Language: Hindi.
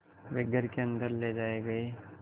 वे घर के अन्दर ले जाए गए